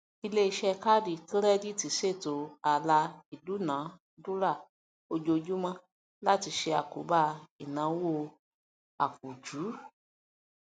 iléiṣẹ káàdì kírẹdììtì ṣètò ààlà ìdúnàdúrá ojoojúmọ láti ṣe àkóbá ináwó àpùjú